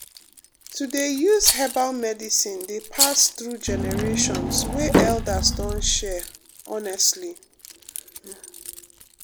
to dey use herbal remedies dey pass through generations wey elders don share honestly um.